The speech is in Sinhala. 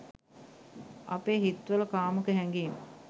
අපේ හිත් වල කාමුක හැඟීම්